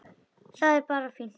Það er bara fínt.